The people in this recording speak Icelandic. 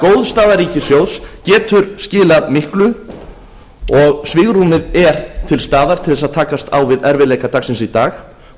góð staða ríkissjóðs getur því skilað miklu og svigrúmið er til staðar til þess að takast á við erfiðleika dagsins í dag og